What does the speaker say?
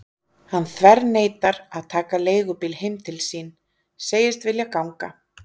Hann þverneitar að taka leigubíl heim til sín, segist vilja ganga.